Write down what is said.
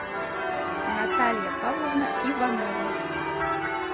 наталья павловна иванова